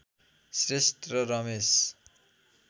श्रेष्ठ र रमेश